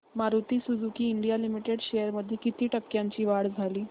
Maruti Suzuki India Limited shares मध्ये किती टक्क्यांची वाढ झाली